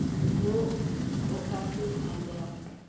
wo o ka se amego